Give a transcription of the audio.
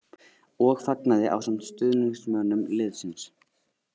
. og fagnaði ásamt stuðningsmönnum liðsins.